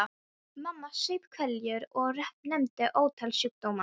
Mamma saup hveljur og nefndi ótal sjúkdóma.